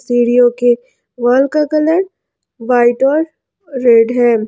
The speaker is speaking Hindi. सीढियो के वाल का कलर व्हाइट और रेड है।